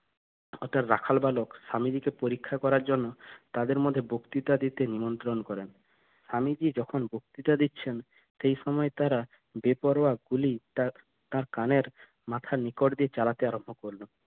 অর্থাৎ রাখাল বালক স্বামীজী কে পরীক্ষা করার জন্য তাদের মধ্যে বক্তৃতা দিতে নিমন্ত্রণ করেন স্বামীজি যখন বক্তৃতা দিচ্ছেন সেই সময় তারা বেপরোয়া গুলি তার কানের মাথার নিকট দিয়ে চালাতে আরম্ভ করলো